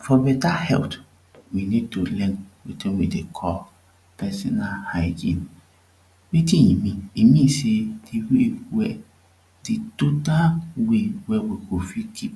For better health we need to learn wetin we dey call personal hygiene. Wetin e mean e means say de way de total way wey we go fit keep